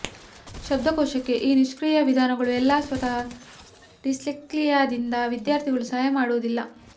ಶಬ್ದಕೋಶಕ್ಕೆ ಈ ನಿಷ್ಕ್ರಿಯ ವಿಧಾನಗಳು ಎಲ್ಲಾ ಸ್ವತಃ ಡಿಸ್ಲೆಕ್ಸಿಯಾದಿಂದ ವಿದ್ಯಾರ್ಥಿಗಳು ಸಹಾಯ ಮಾಡುವುದಿಲ್ಲ